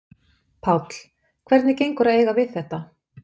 Páll: Hvernig gengur að eiga við þetta?